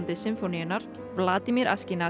Sinfóníunnar Vladimir